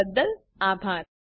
જોડાવા બદલ આભાર